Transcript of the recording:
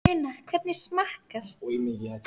Una, hvernig smakkast?